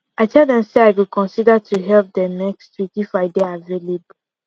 i tell dem say i go consider to help dem next week if i dey avaialble